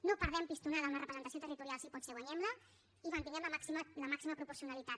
no perdem pistonada amb la representació territorial si pot ser guanyem la i mantinguem la màxima proporcionalitat